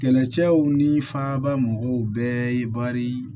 Kɛlɛcɛw ni faaba mɔgɔw bɛɛ ye bari